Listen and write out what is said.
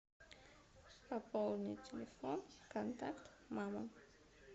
пополнить телефон контакт мама